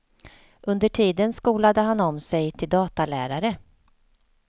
Under tiden skolade han om sig till datalärare.